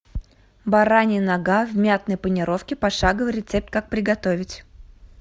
баранья нога в мятной панировке пошаговый рецепт как приготовить